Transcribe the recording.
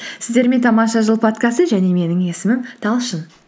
сіздермен тамаша жыл подкасты және менің есімім талшын